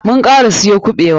Mun kara siyo kuɓewa.